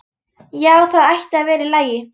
Já, það ætti að vera í lagi.